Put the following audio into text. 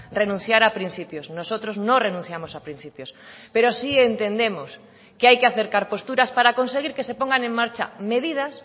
renunciar a principios nosotros no renunciamos a principios pero sí entendemos que hay que acercar posturas para conseguir que se pongan en marcha medidas